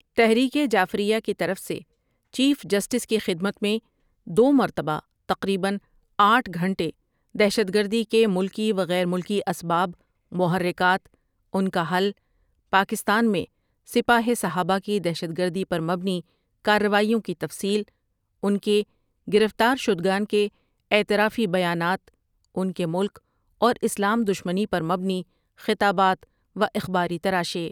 تحریک جعفریہ کی طرف سے چیف جسٹس کی خدمت میں دو مرتبہ تقریباً آٹھ گھنٹے دہشت گردی کے ملکی و غیر ملکی اسباب، محرکات، ان کا حل، پاکستان میں سپاہ صحابہ کی دہشت گردی پر مبنی کاروائیوں کی تفصیل، ان کے گرفتارشدگان کے اعترافی بیانات، ان کے ملک اور اسلام دشمنی پر مبنی خطابات و اخباری تراشے۔